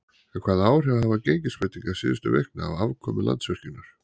En hvaða áhrif hafa gengisbreytingar síðustu vikna á afkomu Landsvirkjunar?